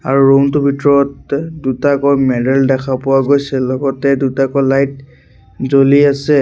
আৰু ৰূম টোৰ ভিতৰত দুটাকৈ মেডেল দেখা পোৱা গৈছে লগতে দুটাকৈ লাইট জ্বলি আছে।